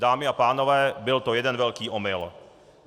Dámy a pánové, byl to jeden velký omyl.